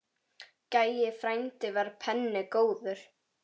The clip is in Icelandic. Gæi frændi var penni góður.